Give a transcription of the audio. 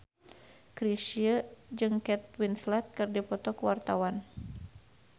Chrisye jeung Kate Winslet keur dipoto ku wartawan